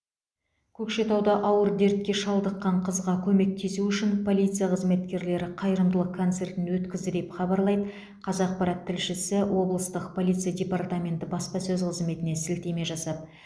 көкшетауда ауыр дертке шалдыққан қызға көмектесу үшін полиция қызметкерлері қайырымдылық концертін өткізді деп хабарлайды қазақпарат тілшісі облыстық полиция департаменті баспасөз қызметіне сілтеме жасап